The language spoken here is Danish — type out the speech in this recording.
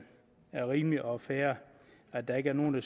rimeligt og fair at der ikke er nogen